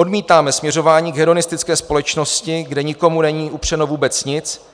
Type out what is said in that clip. Odmítáme směřování k hedonistické společnosti, kde nikomu není upřeno vůbec nic,